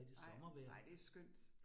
Nej, nej det skønt